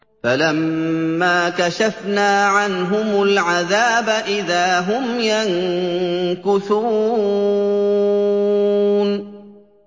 فَلَمَّا كَشَفْنَا عَنْهُمُ الْعَذَابَ إِذَا هُمْ يَنكُثُونَ